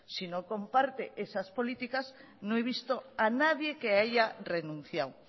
si no comparte esas políticas no he visto a nadie que haya renunciado